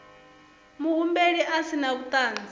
muhumbeli a si na vhuṱanzi